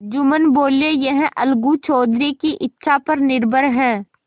जुम्मन बोलेयह अलगू चौधरी की इच्छा पर निर्भर है